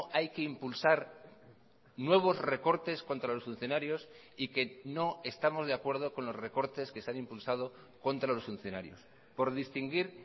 hay que impulsar nuevos recortes contra los funcionarios y que no estamos de acuerdo con los recortes que se han impulsado contra los funcionarios por distinguir